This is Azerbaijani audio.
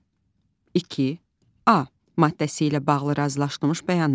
Bir, iki A maddəsi ilə bağlı razılaşdırılmış bəyanat.